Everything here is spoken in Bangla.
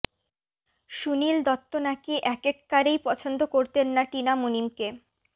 সুনীল দত্ত নাকি একেক্বারেই পছন্দ করতেন না টিনা মুনিমকে